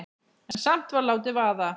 En samt var látið vaða.